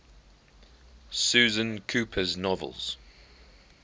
susan cooper's novels